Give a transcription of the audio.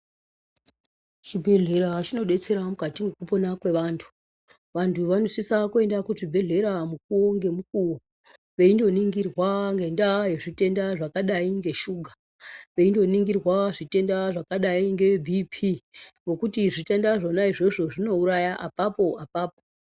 Chibhedhleya chinodetsera mukati mwekupona kwevantu. Vantu vanosisa kuenda kuchibhedhkera mukuwo ngemukuwo veindoningirwa ngendaa yezvitenda zvakadai ngeshuga, veindoningirwa zvitenda zvakadai ngebp ngekuti zvitenda zvona izvozvo zvinouraya apapo -apapo.